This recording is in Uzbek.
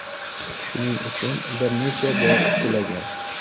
Shuning uchun bir necha bor qulagan.